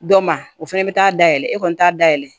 Dɔ ma o fɛnɛ bɛ taa da yɛlɛ e kɔni t'a dayɛlɛ